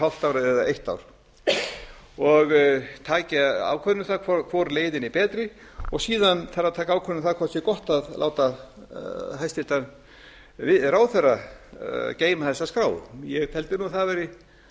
hálft ár eða eitt ár og tekin ákvörðun um það hvor leiðin er betri og síðan þarf að taka ákvörðun um það hvort það sé gott að láta hæstvirtur ráðherra geyma þessa skrá ég teldi nú að það væri